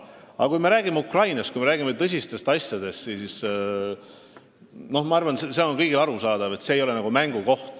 Aga kui me räägime Ukrainast ja tõsistest asjadest, siis ma arvan, et kõigile on arusaadav, et see ei ole mängukoht.